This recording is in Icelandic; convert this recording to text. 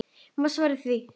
Má svara því?